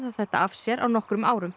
þetta af sér á nokkrum árum